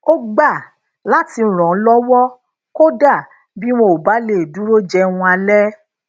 ó gba lati ràn an lówó kódà bí wọn ò bá lè dúró jẹun alé